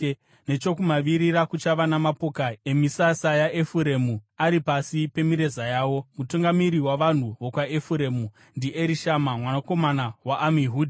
Nechokumavirira kuchava namapoka emisasa yaEfuremu ari pasi pemireza yawo. Mutungamiri wavanhu vokwaEfuremu ndiErishama mwanakomana waAmihudhi.